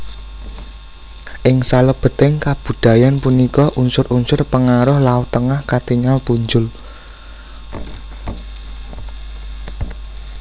Ing salebeting kabudayan punika unsur unsur pengaruh laut Tengah katingal punjul